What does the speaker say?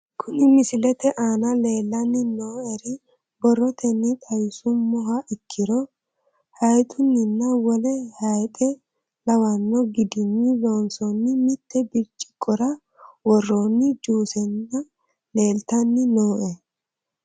Kuni misilete aana leelanni nooere borotenni xawisumoha ikkiro hayxunninna wole hayxe lawano gidinni loosoni mitte birciqora worooni juusena leeltanni nooe